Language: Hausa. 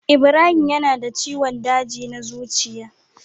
Ibrahim yana da ciwon daji na zuciya.